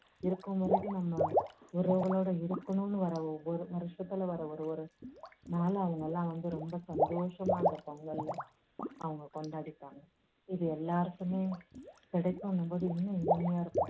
இருக்கும் வரைக்கும் நம்ம உறவுகளோட இருக்கணும்னு வர்ற ஒவ்வொரு வருஷத்துல வர்ற ஒரு ஒரு நாளை அவங்க எல்லாம் வந்து ரொம்ப சந்தோஷமா அந்த பொங்கலை அவங்க கொண்டாடிப்பாங்க. இது எல்லாருக்குமே கிடைக்கும்ன்னும் போது இன்னும் இனிமையா இருக்கும்.